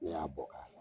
Ne y'a bɔ ka